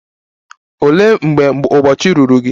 Olee mgbe ụbọchị ruru gị?